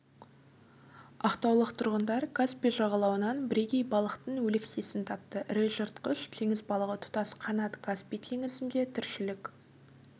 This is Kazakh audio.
ақтаулық тұрғындар каспий жағалауынан бірегей балықтың өлексесін тапты ірі жыртқыш теңіз балығы тұтас қанат каспий теңізінде тіршілік